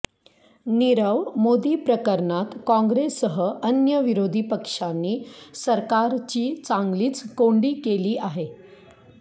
नीरव मोदी प्रकरणात काँग्रेससह अन्य विरोधी पक्षांनी सरकारची चांगलीच कोंडी केली आहे